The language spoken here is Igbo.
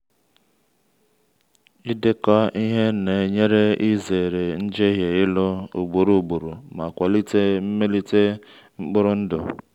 ịdekọ ihe na-enyere izere njehie ịlụ ugboro ugboro ma kwalite mmelite mkpụrụ ndụ.